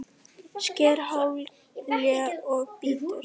Sker haglél og bítur.